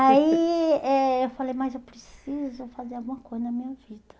Aí eh eu falei, mas eu preciso fazer alguma coisa na minha vida.